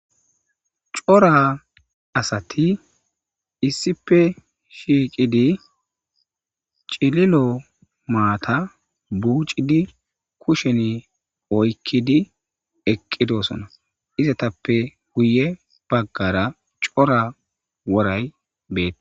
Coora asati issipe shiiqidi cililo maata buiucidi kushen oykidi eqqidosona izatappe wuye baggara cora woray beete